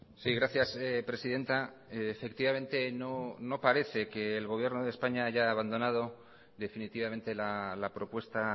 sí gracias presidenta efectivamente no parece que el gobierno de españa haya abandonado definitivamente la propuesta